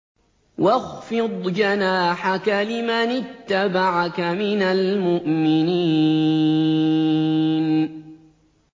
وَاخْفِضْ جَنَاحَكَ لِمَنِ اتَّبَعَكَ مِنَ الْمُؤْمِنِينَ